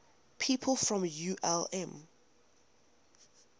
people from ulm